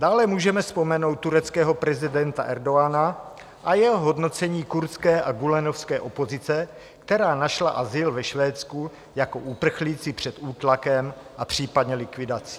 Dále můžeme vzpomenout tureckého prezidenta Erdogana a jeho hodnocení kurdské a gülenovské opozice, která našla azyl ve Švédsku jako uprchlíci před útlakem a případně likvidací.